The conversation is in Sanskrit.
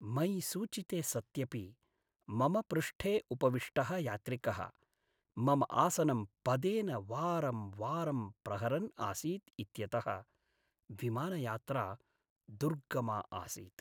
मयि सूचिते सत्यपि मम पृष्ठे उपविष्टः यात्रिकः मम आसनं पदेन वारंवारं प्रहरन् आसीत् इत्यतः विमानयात्रा दुर्गमा आसीत्।